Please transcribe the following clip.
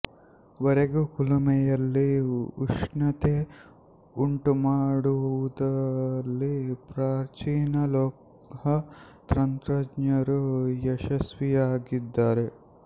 ವರೆಗೂ ಕುಲುಮೆಯಲ್ಲಿ ಉಷ್ಣತೆ ಉಂಟುಮಾಡುವಲ್ಲಿ ಪ್ರಾಚೀನ ಲೋಹ ತಂತ್ರಜ್ಞರು ಯಶಸ್ವಿಯಾಗಿದ್ದಾರೆ